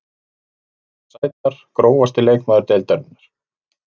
Margar sætar Grófasti leikmaður deildarinnar?